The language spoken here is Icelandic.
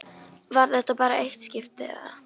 Var þetta bara eitt skipti, eða.